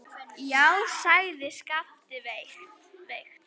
Já, sagði Skapti veikt.